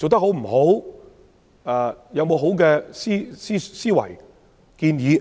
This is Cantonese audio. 有沒有好的思維和建議？